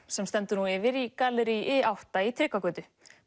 sem stendur nú yfir í gallerí i átta í Tryggvagötu